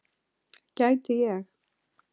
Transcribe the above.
Gæti ég.